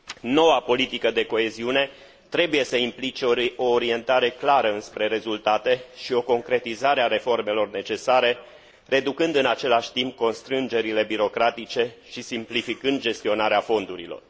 Noua politică de coeziune trebuie să implice o orientare clară înspre rezultate și o concretizare a reformelor necesare, reducând, în același timp, constrângerile birocratice și simplificând gestionarea fondurilor.